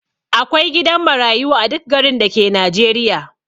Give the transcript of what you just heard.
Akwai gidan marayu a duk garin dake najeriya